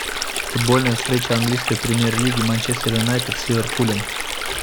футбольная встреча английской премьер лиги манчестер юнайтед с ливерпулем